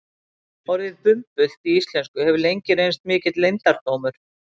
Orðið bumbult í íslensku hefur lengi reynst mikill leyndardómur.